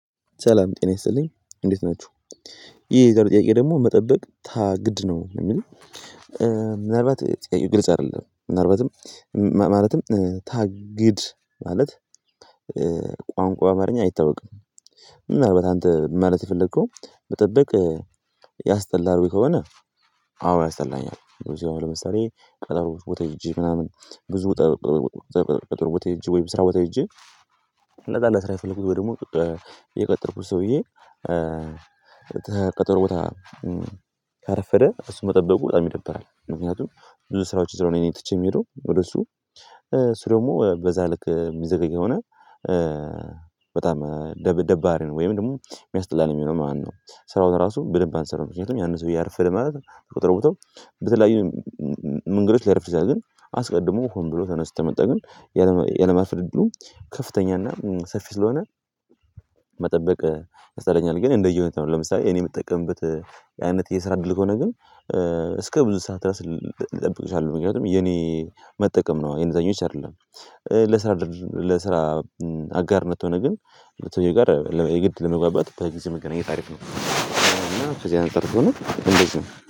ሰላም ጤና ይስጥልኝ እንዴት ናችሁ። ይሄ የዛሬው ጥያቄ ደግሞ መጠበቅ ታ ግድ ነው የሚል። ምናልባት ጥያቄው ግልጽ አይደለም ነበትም ማለትም ታግድ ማለት በአማርኛ አይታወቅም። ምናልባት አንተ ማለት የፈለከው መጠበቅ ያስጠላል ወይ ከሆነ? አዎ ያስጠላኛል። ለምሳሌ ቀጠሮ ቦታ ሂጀ ምናምን። ብዙ ቀጠሮ ቦታ ሄጄ ወይም ስራ ቦታ ሄጄ። እና ጠላ ለስራ የፈለኩት ወይም ደግሞ የቀጠርኩት ሰውዬ። ከቀጥሮ ቦታ ካረፈደ እሱን መጠበቁ በጣም ይደብራል። ምክንያቱም ብዙ ስራዎች ስለሆነ ትቸ የሚለው ወደ እሱ ስር ደግሞ በዛ ልክ የሚዘገጊ የሆነ። በጣም ደብደባሪ ነው ወይም ደግሞ የሚያስጠላን የሚለው ማነው? ስራው ራሱ በደንብ አንሰራም ምክንያቱም ያነ ሰውየ አረፈደ ማለት ከቀጠሮ ቦታው በተለያዩ መንገዶች ሊያርፍ ይችላል። ግን አስቀድሞ ሆን ብሎ ተነስቶ ከመጣ ግን የለማርፈድ እድሉ ከፍተኛና ሰፊ ስለሆነ። መጠበቅ ያስጠላኛል። ግን እንደየሁኔታው ነው። ለምሳሌ እኔ የምጠቀምበት የስራ አይነት የስራ እድል ከሆነ ግን እስከ ብዙ ሰዓት ራስ ልጠብቅሻለሁ አሉ። ምክንያቱም የኔ መጠቀም ነው የኔ ዛኞች አይደለም። ለስራ ለስራ አጋርነት ከሆነ ግን ከሰውየው ጋር የግድ ለመግባባት በጊዜ መገናኘት አሪፍ ነው። እና ከዚያ አንጸር ቢሆንም እንደዚህ ነው